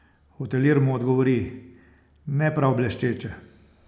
Hotelir mu odgovori: 'Ne prav bleščeče.